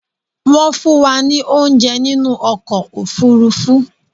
Wọ́n fún wa ní óunjẹ nínú ọkò òfurufú